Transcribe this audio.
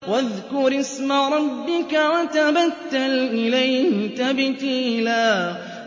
وَاذْكُرِ اسْمَ رَبِّكَ وَتَبَتَّلْ إِلَيْهِ تَبْتِيلًا